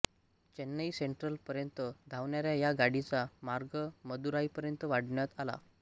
Chennai central पर्यन्त धावणाऱ्या ह्या गाडीचा मार्ग मदुराईपर्यंत वाढवण्यात आला